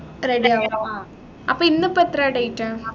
ready ആവുക അപ്പൊ ഇന്നിപ്പോ എത്രയാ date